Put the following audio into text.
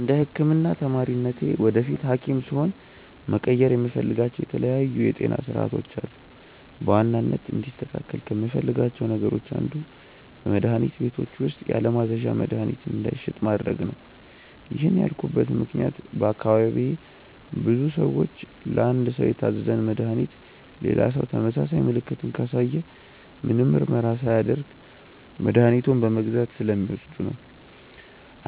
እንደ ህክምና ተማሪነቴ ወደፊት ሀኪም ስሆን መቀየር የምፈልጋቸው የተለያዩ የጤና ስርዓቶች አሉ። በዋናነት እንዲስተካከል ከምፈልጋቸው ነገሮች አንዱ በመድሀኒት ቤቶች ውስጥ ያለማዘዣ መድሀኒት እንዳይሸጥ ማድረግ ነው። ይህን ያልኩበት ምክንያት በአካባቢዬ ብዙ ሰዎች ለአንድ ሰው የታዘዘን መድሃኒት ሌላ ሰው ተመሳሳይ ምልክትን ካሳየ ምንም ምርመራ ሳያደርግ መድኃኒቱን በመግዛት ስለሚወስዱ ነው።